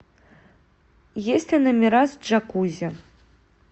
есть ли номера с джакузи